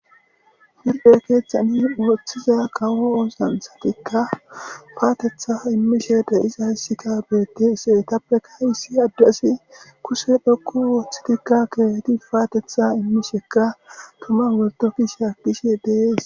Huuphe keeththani ooththida kawo oosanchchathikka paatheththaa immishee de7izayssikka beeththeesi; ethapeka issi addezi kushe dhoqqu ooththidikka keehidi paatheththaa immishekka tuman woykko kushiyaa dishee de7ees.